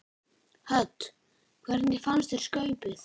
Hödd: Hvernig fannst þér skaupið?